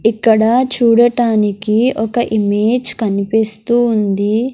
ఇక్కడ చూడటానికి ఒక ఇమేజ్ కనిపిస్తూ ఉంది.